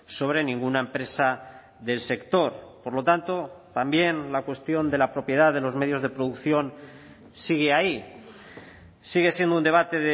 sobre ninguna empresa del sector por lo tanto también la cuestión de la propiedad de los medios de producción sigue ahí sigue siendo un debate